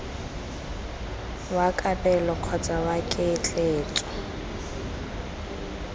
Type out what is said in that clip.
wa kabelo kgotsa wa ketleetso